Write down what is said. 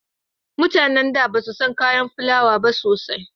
Mutanen da basu san kayan filawa ba sosai